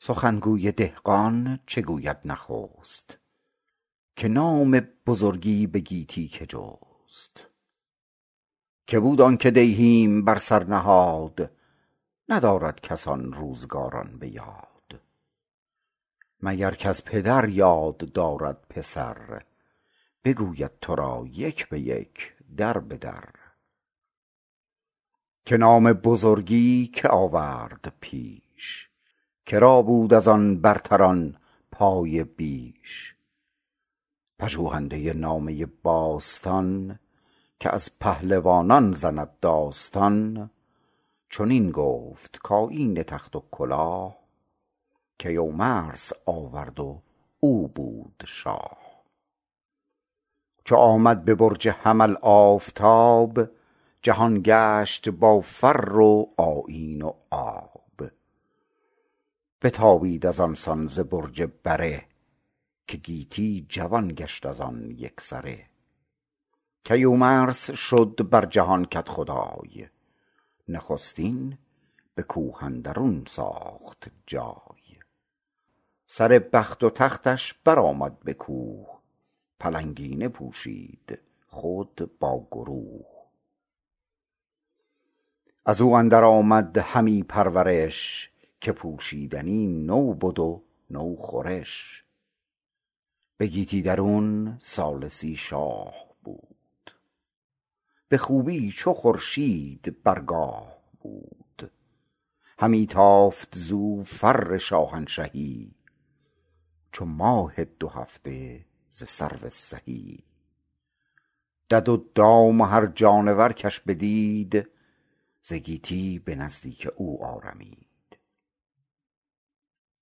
سخن گوی دهقان چه گوید نخست که نام بزرگی به گیتی که جست که بود آن که دیهیم بر سر نهاد ندارد کس آن روزگاران به یاد مگر کز پدر یاد دارد پسر بگوید تو را یک به یک در به در که نام بزرگی که آورد پیش که را بود از آن برتران پایه بیش پژوهنده نامه باستان که از پهلوانان زند داستان چنین گفت کآیین تخت و کلاه کیومرث آورد و او بود شاه چو آمد به برج حمل آفتاب جهان گشت با فر و آیین و آب بتابید از آن سان ز برج بره که گیتی جوان گشت از آن یک سره کیومرث شد بر جهان کدخدای نخستین به کوه اندرون ساخت جای سر بخت و تختش بر آمد به کوه پلنگینه پوشید خود با گروه از او اندر آمد همی پرورش که پوشیدنی نو بد و نو خورش به گیتی درون سال سی شاه بود به خوبی چو خورشید بر گاه بود همی تافت زو فر شاهنشهی چو ماه دو هفته ز سرو سهی دد و دام و هر جانور کش بدید ز گیتی به نزدیک او آرمید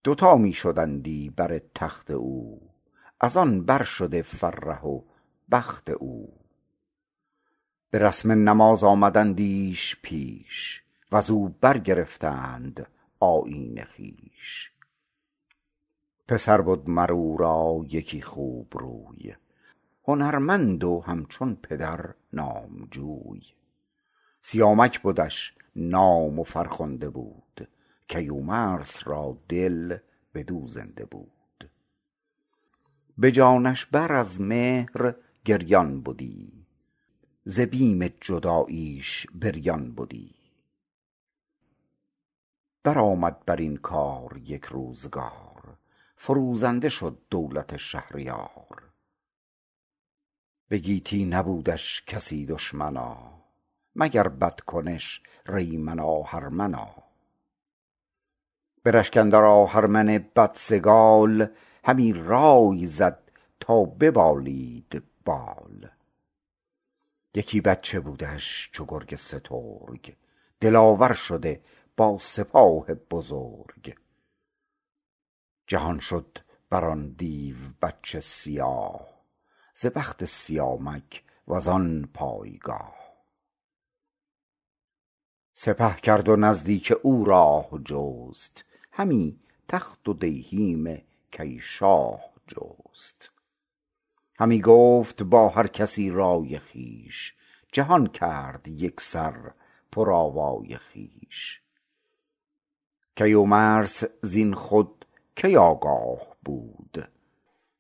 دوتا می شدندی بر تخت او از آن بر شده فره و بخت او به رسم نماز آمدندیش پیش و ز او برگرفتند آیین خویش پسر بد مر او را یکی خوب روی هنرمند و همچون پدر نامجوی سیامک بدش نام و فرخنده بود کیومرث را دل بدو زنده بود به جانش بر از مهر گریان بدی ز بیم جداییش بریان بدی بر آمد بر این کار یک روزگار فروزنده شد دولت شهریار به گیتی نبودش کسی دشمنا مگر بدکنش ریمن آهرمنا به رشک اندر آهرمن بدسگال همی رای زد تا ببالید بال یکی بچه بودش چو گرگ سترگ دلاور شده با سپاه بزرگ جهان شد بر آن دیو بچه سیاه ز بخت سیامک و زان پایگاه سپه کرد و نزدیک او راه جست همی تخت و دیهیم کی شاه جست همی گفت با هر کسی رای خویش جهان کرد یک سر پر آوای خویش کیومرث زین خود کی آگاه بود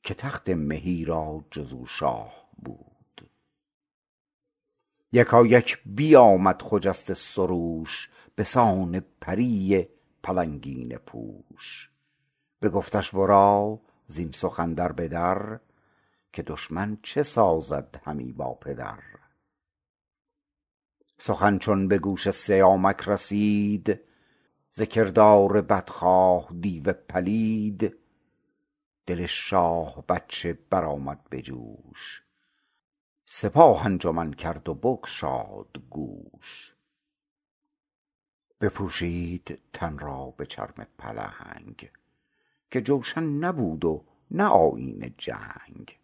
که تخت مهی را جز او شاه بود یکایک بیامد خجسته سروش به سان پری پلنگینه پوش بگفتش ورا زین سخن در به در که دشمن چه سازد همی با پدر سخن چون به گوش سیامک رسید ز کردار بدخواه دیو پلید دل شاه بچه بر آمد به جوش سپاه انجمن کرد و بگشاد گوش بپوشید تن را به چرم پلنگ که جوشن نبود و نه آیین جنگ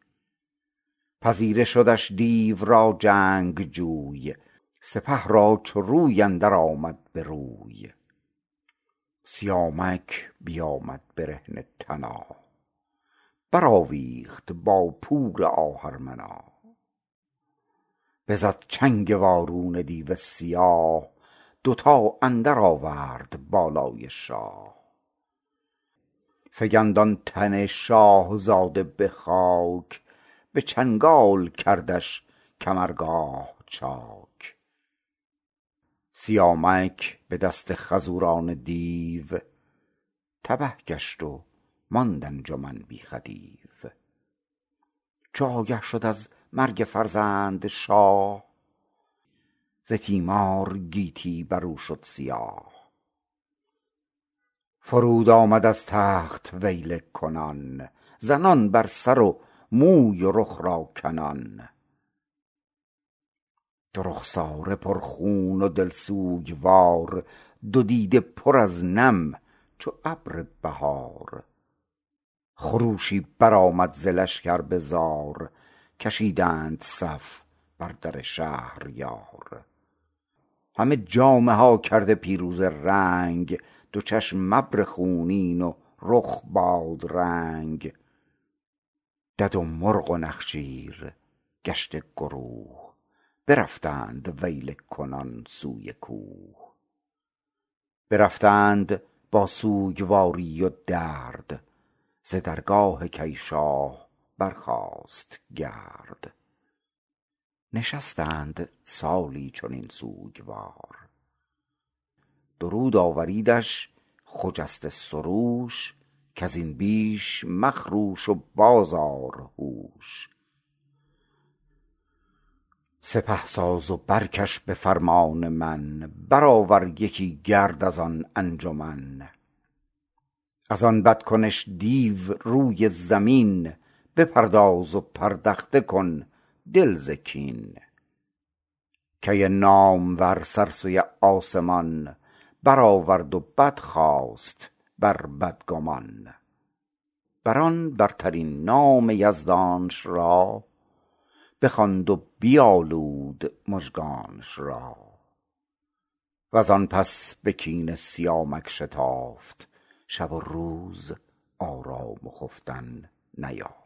پذیره شدش دیو را جنگجوی سپه را چو روی اندر آمد به روی سیامک بیامد برهنه تنا بر آویخت با پور آهرمنا بزد چنگ وارونه دیو سیاه دوتا اندر آورد بالای شاه فکند آن تن شاهزاده به خاک به چنگال کردش کمرگاه چاک سیامک به دست خروزان دیو تبه گشت و ماند انجمن بی خدیو چو آگه شد از مرگ فرزند شاه ز تیمار گیتی بر او شد سیاه فرود آمد از تخت ویله کنان زنان بر سر و موی و رخ را کنان دو رخساره پر خون و دل سوگوار دو دیده پر از نم چو ابر بهار خروشی بر آمد ز لشکر به زار کشیدند صف بر در شهریار همه جامه ها کرده پیروزه رنگ دو چشم ابر خونین و رخ بادرنگ دد و مرغ و نخچیر گشته گروه برفتند ویله کنان سوی کوه برفتند با سوگواری و درد ز درگاه کی شاه برخاست گرد نشستند سالی چنین سوگوار پیام آمد از داور کردگار درود آوریدش خجسته سروش کز این بیش مخروش و باز آر هوش سپه ساز و برکش به فرمان من بر آور یکی گرد از آن انجمن از آن بد کنش دیو روی زمین بپرداز و پردخته کن دل ز کین کی نامور سر سوی آسمان بر آورد و بدخواست بر بدگمان بر آن برترین نام یزدانش را بخواند و بپالود مژگانش را و زان پس به کین سیامک شتافت شب و روز آرام و خفتن نیافت